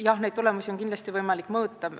Jah, neid tulemusi on kindlasti võimalik mõõta.